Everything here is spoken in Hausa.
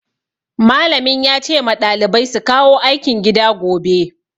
Malamin ya ce ma ɗalibai su kawo aikin gida gobe.